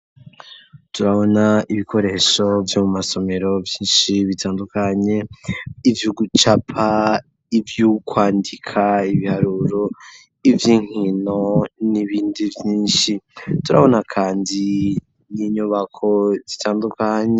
Turabona ibikoresho vyo mu masomero vyinshi bitandukanye ivyugucapa ivyukwandika ibiharuro ivy'inkino n'ibindi vyinshi turabona kandi ninyubako zitandukanye.